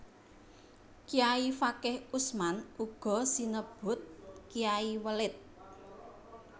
Kayai Fakih Usman uga sinebut Kyai Welit